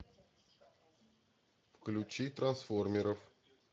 включи трансформеров